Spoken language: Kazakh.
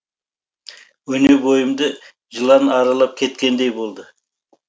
өне бойымды жылан аралап кеткендей болды